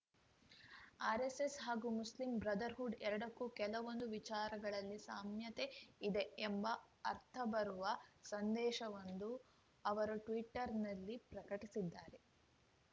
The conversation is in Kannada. ಆರ್‌ಎಸ್‌ಎಸ್‌ ಹಾಗೂ ಮುಸ್ಲಿಂ ಬ್ರದರ್‌ಹುಡ್‌ ಎರಡಕ್ಕೂ ಕೆಲವೊಂದು ವಿಚಾರಗಳಲ್ಲಿ ಸಾಮ್ಯತೆ ಇದೆ ಎಂಬ ಅರ್ಥಬರುವ ಸಂದೇಶವೊಂದನ್ನು ಅವರು ಟ್ವೀಟರ್‌ನಲ್ಲಿ ಪ್ರಕಟಿಸಿದ್ದಾರೆ